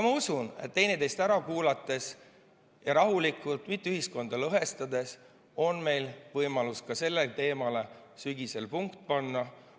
Ma usun, et üksteist ära kuulates ja rahulikult, mitte ühiskonda lõhestades, on meil võimalus ka sellele teemale sügisel punkt panna.